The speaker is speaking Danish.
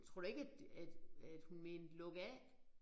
Tror du ikke at at at hun mente lukaf